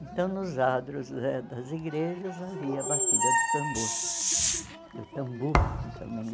Então, nos adros eh das igrejas, havia a batida do tambor, do tambor também.